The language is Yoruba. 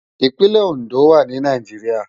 Ipinlè Ondo wá ni Náijiriá